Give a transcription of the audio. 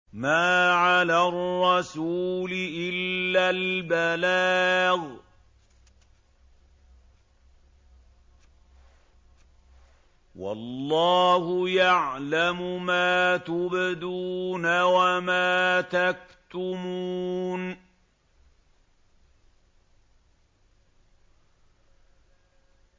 مَّا عَلَى الرَّسُولِ إِلَّا الْبَلَاغُ ۗ وَاللَّهُ يَعْلَمُ مَا تُبْدُونَ وَمَا تَكْتُمُونَ